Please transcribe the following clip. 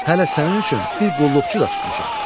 Hələ sənin üçün bir qulluqçu da tutmuşam.